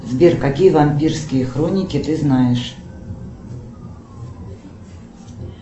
сбер какие вампирские хроники ты знаешь